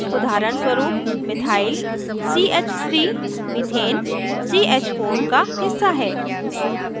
उदाहरणस्वरूप methyl ch3 methane ch4 का हिस्सा है